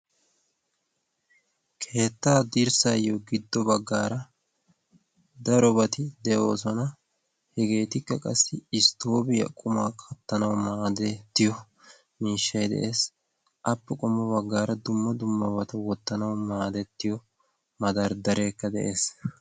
keettaa dirssaayyo giddo baggaara daro bati de'oosona. hegeetikka qassi isttoobiyaa qumaa kattanawu maadettiyo miishshei de'ees. appe qummo baggaara dumma dumma bata wottanawu maadettiyo madarddareekka de'ees.